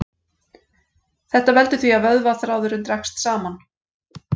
Þetta veldur því að vöðvaþráðurinn dregst saman.